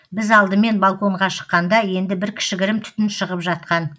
біз алдымен балконға шыққанда енді бір кішігірім түтін шығып жатқан